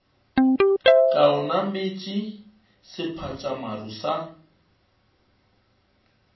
ka o nametše sephatšamaru sa